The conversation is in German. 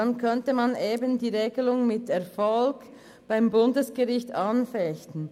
Dann könnte man die Regelung mit Erfolg beim Bundesgericht anfechten.